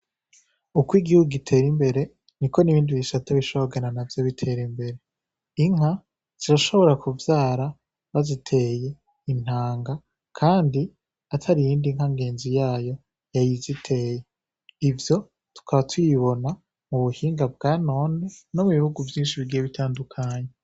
Uko igihugu gitera imbere niko n’ibindi bisara bishobora kugenda navyo bitera imbere, inka zirashobora kuvyara baziteye intanga kandi atari iyindi nka ngenzi yayo yayiziteye, ivyo tukaba tubibona mu buhinga bwa none no mu bihugu vyinshi bigiye bitandukanye.